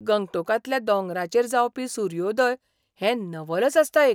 गंगटोकांतल्या दोंगरांचेर जावपी सुर्योदय हें नवलच आसता एक.